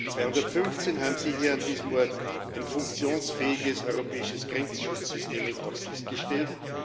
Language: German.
2015 haben Sie hier an diesem Ort ein funktionsfähiges europäisches Grenzschutzsystem in Aussicht gestellt.